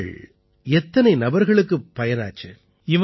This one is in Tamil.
உறுப்புகள் எத்தனை நபர்களுக்குப் பயனாச்சு